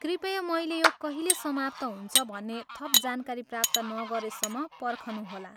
कृपया मैले यो कहिले समाप्त हुन्छ भन्ने थप जानकारी प्राप्त नगरेसम्म पर्खनुहोला।